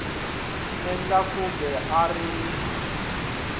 endla kumbe a a ri